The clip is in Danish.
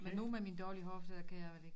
Men nu med min dårlige hofte kan jeg vel ikke